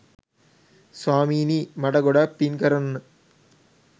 ස්වාමිනී මට ගොඩක් පින් කරන්න